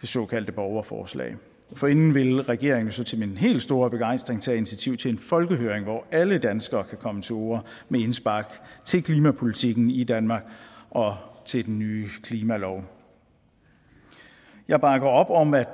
det såkaldte borgerforslag forinden vil regeringen så til min helt store begejstring tage initiativ til en folkehøring hvor alle danskere kan komme til orde med indspark til klimapolitikken i danmark og til den nye klimalov jeg bakker op om at